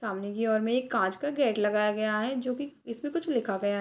सामने की ओर में एक काँच का गेट लगाया गया है जो की इसमें कुछ लिखा गया।